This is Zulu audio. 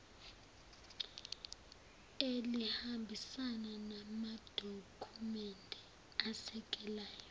elihambisana namadokhumende asekelayo